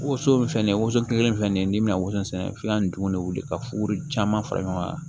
Woson filɛ nin ye woson kelen filɛ nin ye n'i bɛna woso sɛnɛ f'i ka ntugun de wele ka furu caman fara ɲɔgɔn kan